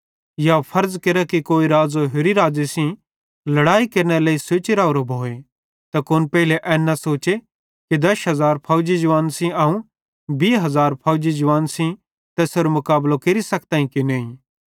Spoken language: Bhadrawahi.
या फर्ज़ केरा कि कोई राज़ो होरि राज़े सेइं लड़ाई केरनेरे लेइ सोची राहोरो भोए त कुन पेइले एन न सोचे कि 10000 फौजी जवानन् सेइं अवं 20000 फौजी जवावन सेइं तैसेरो मुकाबलो केरि सखतां कि नईं